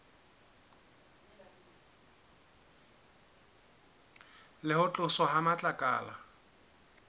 le ho tloswa ha matlakala